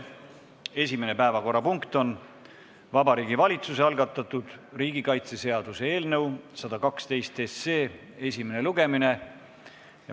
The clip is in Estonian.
Esimene päevakorrapunkt on Vabariigi Valitsuse algatatud riigikaitseseaduse eelnõu 112 esimene lugemine.